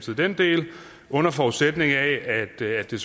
vi den del under forudsætning af at det